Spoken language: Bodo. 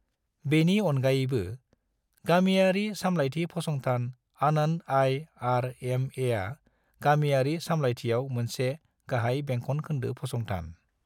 बेनि अनगायैबो, गामियारि सामलायथि फसंथान आनन्द आई.आर.एम.ए. आ गामियारि सामलायथियाव मोनसे गाहाय बेंखन खोन्दो फंसंथान ।